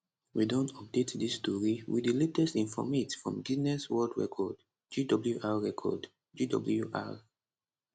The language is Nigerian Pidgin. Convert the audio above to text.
we don update dis tori wit di latest informate from guinness world record gwr record gwr